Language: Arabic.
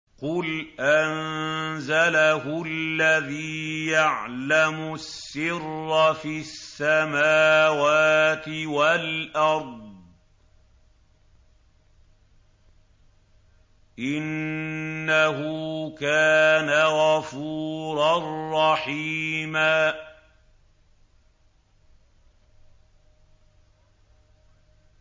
قُلْ أَنزَلَهُ الَّذِي يَعْلَمُ السِّرَّ فِي السَّمَاوَاتِ وَالْأَرْضِ ۚ إِنَّهُ كَانَ غَفُورًا رَّحِيمًا